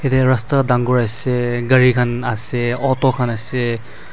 edeh rasta dangor ase gari khan ase auto khan ase.